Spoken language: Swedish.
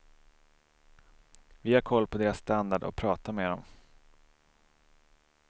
Vi har koll på deras standard och pratar med dem.